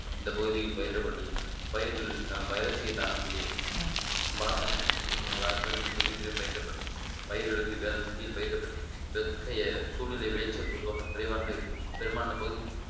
இந்த பகுதியில் பயிரிடப்பட்டு பயிர்கள் வைரஸை தாங்கக்கூடிய பாசன வசதி பயிரிடப்படும் பயிர்களுக்கு வேளாண்மைக்கு கீழ் பயிரிடப்படுகிறது இத்தகைய சூழ்நிலை விளைச்சல் பொதுவாக குறைவாக இருக்கும் பெரும்பாலான பகுதிகளில்